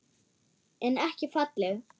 En ekki falleg.